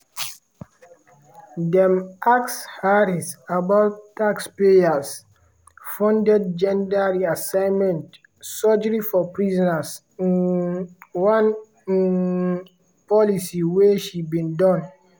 dem ask harris about taxpayer-funded gender reassignment surgery for prisoners um one um policy wey she bin don